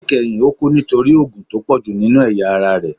Nikẹhin o kú nítorí òógun tó pọju ninú eyá ará rẹ